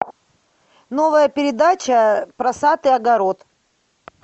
новая передача про сад и огород